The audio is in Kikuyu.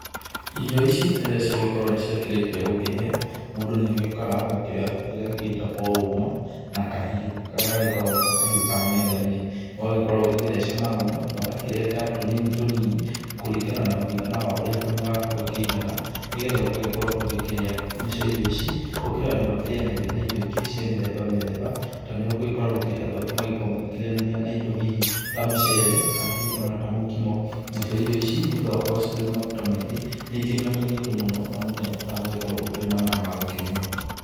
Irio ici rĩrĩa ciagĩkorwo nĩ ciakĩrĩkia gũkĩhĩa mũndũ nĩ agĩũkaga ũgakĩoya kĩrĩa gĩgĩtagwo ũma na kahiũ karĩa gagĩkoragwo nĩko kahiũ ka metha-inĩ. Ũgagĩkorwo ũgĩgĩtheca na ũma na ũgakĩrenga tũnini tũnini kũringana na mũigana wa ũrĩa kanua gaku gakĩigana nĩ getha ũgagĩkorwo ũgĩkĩrĩa. Nacio irio ici gũkĩrĩ andũ makĩrĩanagĩria na indo ingĩ cia mĩthemba mĩthemba, ta nĩ ũgagĩkora gũkĩrĩ andũ angĩ nĩ magĩkoragwo makĩrĩanĩria na indo hihi ta mũcere kana hihi ta mũkimo. Nacio irio ici nĩ ũndũ wa gũkorwo ciĩna maguta maingĩ nĩ ikĩnyotagia andũ mũno na mũndũ nĩ agĩbataraga ũgagĩkorwo ũkĩrĩ na maaĩ magũkĩnyua.